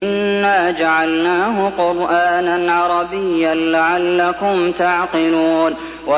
إِنَّا جَعَلْنَاهُ قُرْآنًا عَرَبِيًّا لَّعَلَّكُمْ تَعْقِلُونَ